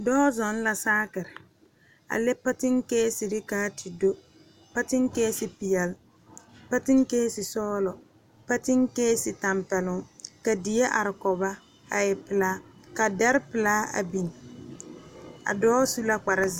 Dɔɔ zɔŋ la saakire a le patinkesire kaa te do patinkese peɛle patinkese sɔglɔ patinkese tampɛloŋ ka die are kɔge ba a e pelaa ka dɛre pelaa a biŋ a dɔɔ su la kpare.